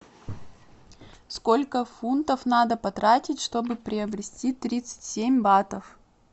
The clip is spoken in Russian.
сколько фунтов надо потратить чтобы приобрести тридцать семь батов